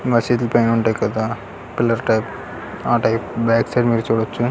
మసీదులు పైన ఉంటాయి కదా. పిల్లర్ టైపు లో ఆ టైపు బ్యాక్ సైడ్ మీరు చూడచ్చు .